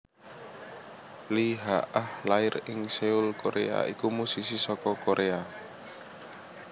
Lee Hee Ah lair ing Seoul Koréa iku musisi saka Koréa